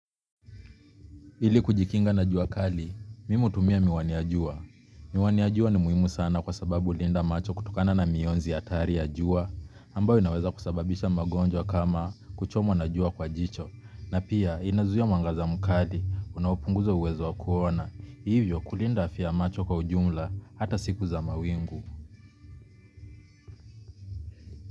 Ili kujikinga na jua kali, mimi hutumia miwani ya jua. Miwani ya jua ni muhimu sana kwa sababu hulinda macho kutokana na mionzi hatari ya jua, ambayo inaweza kusababisha magonjwa kama kuchomwa na jua kwa jicho, na pia inazuia mwangaza mkali, unaopunguza uwezo wa kuona, hivyo kulinda afya macho kwa ujumla hata siku za mawingu.